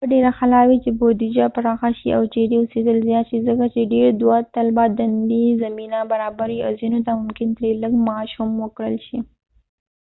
دا به ډیره ښه لار وي چې بودیجه پراخه شي او چیرې اوسیدل زیات شي ځکه چې ډیر دواطلبه دندې زمینه برابروي او ځینو ته ممکن ترې لږ معاش هم ورکړل شي